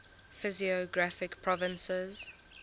physiographic provinces